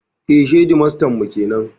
Eh, shedimastan mu kenan